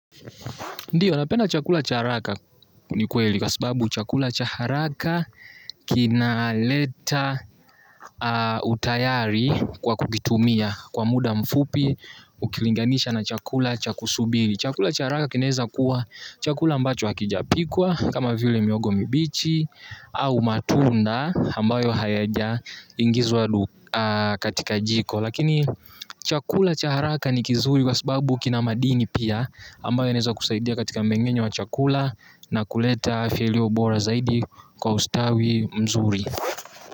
Ndio napenda chakula cha haraka ni ukweli kwa sababu chakula cha haraka kinaleta utayari kwa kukitumia kwa muda mfupi ukilinganisha na chakula cha kusubiri. Chakula cha haraka kinaweza kuwa chakula ambacho hakijapikwa kama vile mihogo mibichi au matunda ambayo hayaja ingizwa katika jiko. Lakini chakula cha haraka ni kizuri kwa sababu kina madini pia. Ambayo inaweza kusaidia katika mmeng'enyo wa chakula na kuleta afya iliyo bora zaidi kwa ustawi mzuri.